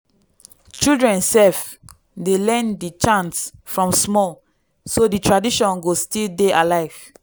children sef dey learn di chants from small so di tradition go still dey alive.